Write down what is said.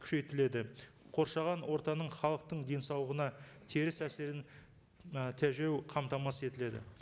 күшейтіледі қоршаған ортаның халықтың денсаулығына теріс әсерін ы тежеу қамтамасыз етіледі